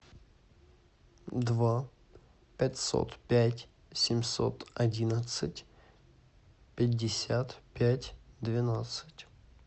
два пятьсот пять семьсот одиннадцать пятьдесят пять двенадцать